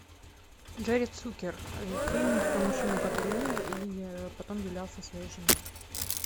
джерри цукер фильм про мужчину который умер и потом являлся своей жене